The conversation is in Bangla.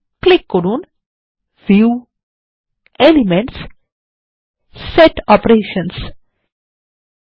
ক্লিক করুন ভিউগ্ট এলিমেন্টসগট সেট অপারেশনসহ